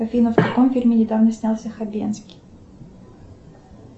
афина в каком фильме недавно снялся хабенский